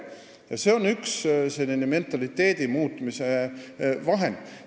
Ja see on üks mentaliteedi muutmise vahendeid.